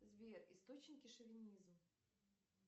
сбер источники шовинизм